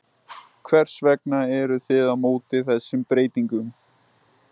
Hvers vegna eruð þið á móti þessum breytingum?